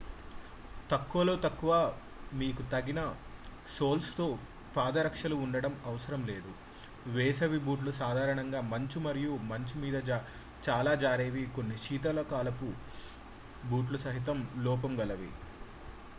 తక్కువలో తక్కువ మీకు తగిన సోల్స్తో పాదరక్షలు ఉండడం అవసరం వేసవి బూట్లు సాధారణంగా మంచు మరియు మంచు మీద చాలా జారేవి కొన్ని శీతాకాలపు బూట్లు సహితం లోపం గలవి